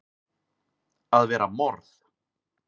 AÐ VERA MORÐ!